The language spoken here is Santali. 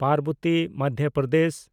ᱯᱟᱨᱵᱚᱛᱤ (ᱢᱚᱫᱫᱷᱚ ᱯᱨᱚᱫᱮᱥ)